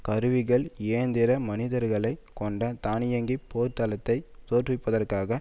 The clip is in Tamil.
கருவிகள் இயந்திர மனிதர்களை கொண்ட தானியங்கிப் போர்த்தளத்தை தோற்றுவிப்பதற்காக